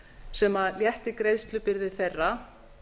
sem létti greiðslubyrði þeirra